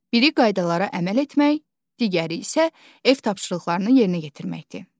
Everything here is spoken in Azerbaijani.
Biri qaydalara əməl etmək, digəri isə ev tapşırıqlarını yerinə yetirməkdir.